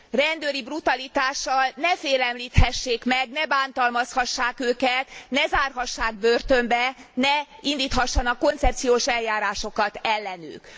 rendőri brutalitással ne félemlíthessék meg, ne bántalmazhassák őket, ne zárhassák börtönbe, ne indíthassanak koncepciós eljárásokat ellenük.